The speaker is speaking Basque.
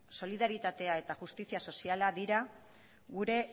solidaritatea eta justizia soziala dira gure